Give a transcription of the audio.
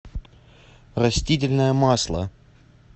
растительное масло